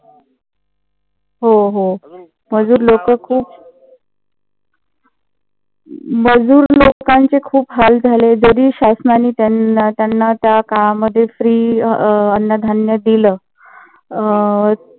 हो हो. मजूर लोक खूप मजूर लोकांचे खूप हाल झाले. जरी शासनाने त्यांना त्याकाळामध्ये free अन्न धान्य दिल. अं